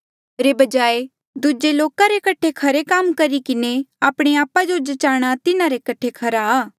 रे बजाय दूजे लोका रे कठे खरे काम करी किन्हें आपणे आपा जो जचाणा तिन्हारे कठे खरा आ